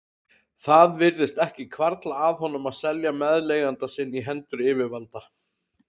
Það virtist ekki hvarfla að honum að selja meðleigjanda sinn í hendur yfirvalda.